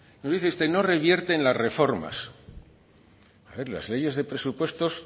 dice usted no revierte en las reformas a ver las leyes de presupuestos